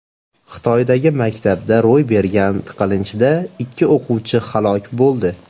Xitoydagi maktabda ro‘y bergan tiqilinchda ikki o‘quvchi halok bo‘ldi.